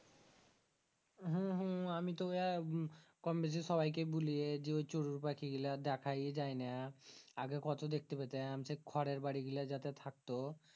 হু হু আমি তো ওয়া কম বেশি সবাই কেই বুলিয়ে জি ওই চড়ুই পাখি গীলা দেখায় যায়না আগে কত দেখতে পেতাম সেই খড়ের বাড়ি গীলা যাদের থাকতো